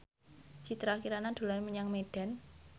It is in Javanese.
Citra Kirana dolan menyang Medan